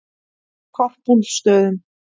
Korpúlfsstöðum